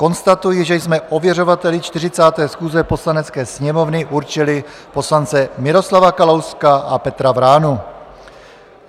Konstatuji, že jsme ověřovateli 40. schůze Poslanecké sněmovny určili poslance Miroslava Kalouska a Petra Vránu.